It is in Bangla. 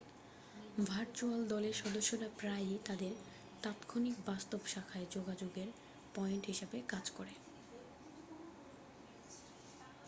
ভার্চুয়াল দলের সদস্যরা প্রায়ই তাদের তাৎক্ষণিক বাস্তব শাখায় যোগাযোগের পয়েন্ট হিসাবে কাজ করে